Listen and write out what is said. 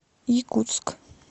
якутск